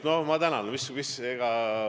No ma tänan!